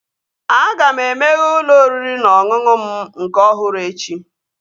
Aga m emeghe ụlọ oriri na ọṅụṅụ m nke ọhụrụ echi